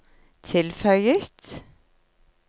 tilføyet